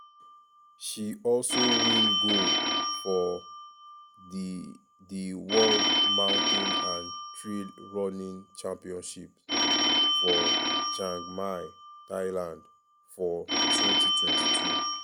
she also win gold for di di world mountain and trail running championships for chiang mai thailand for 2022.